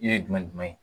Yiri ye jumɛn ye